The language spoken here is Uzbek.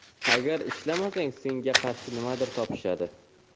Agar ishlamasang – senga qarshi nimadir topishadi.